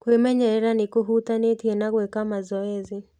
kwĩmenyerera nĩ kũhutanĩtie na gwĩka mazoezi.